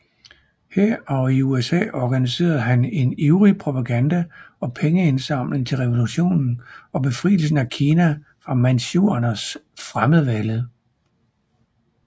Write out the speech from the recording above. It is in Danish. Her og i USA organiserede han en ivrig propaganda og pengeindsamling til revolutionen og befrielsen af Kina for manchuernes fremmedvælde